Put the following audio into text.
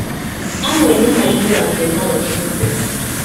Amwe nĩmaihũragio na roho mũtheru